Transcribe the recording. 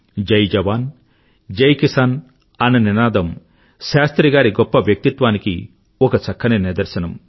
జయ్ జవాన్ జయ్ కిసాన్ అన్న నినాదం శాస్త్రి గారి గొప్ప వ్యక్తిత్వానికి ఒక చక్కని నిదర్శనం